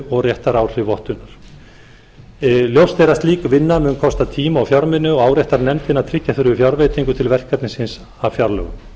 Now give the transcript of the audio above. og réttaráhrif vottunar ljóst er að slík vinna mun kosta tíma og fjármuni og áréttar nefndin að tryggja þurfi fjárveitingu til verkefnisins af fjárlögum